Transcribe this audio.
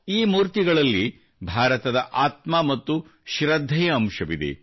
ಈ ಮೂರ್ತಿಗಳಲ್ಲಿ ಭಾರತದ ಆತ್ಮ ಮತ್ತು ಶೃದ್ಧೆಯ ಅಂಶವಿದೆ